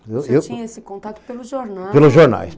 Você tinha esse contato pelos jornais. Pelos jornais.